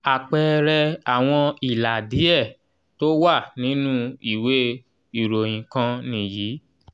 àpẹẹrẹ àwọn ìlà díẹ tó wà nínú ìwé ìròyìn kan nìyí.